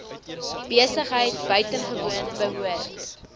besigheid buitengewoon behoort